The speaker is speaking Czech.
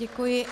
Děkuji.